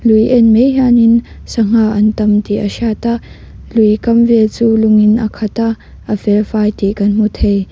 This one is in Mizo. lui en mai hian in sangha an tam tih a hriat a lui kam vel chu lung in a khat a a fel fai tih kan hmu thei.